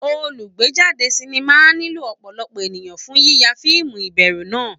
Olùgbéjáde sinimá á nílò ọ̀pọ̀lọpọ̀ ènìyàn fún yíya fíìmù ìbẹ̀rù náà